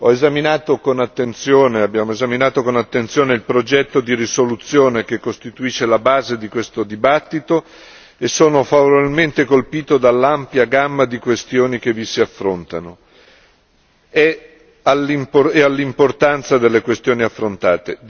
Ho esaminato con attenzione il progetto di risoluzione che costituisce la base di questo dibattito e sono favorevolmente colpito dall'ampia gamma di questioni che vi si affrontano e dall'importanza delle questioni affrontate.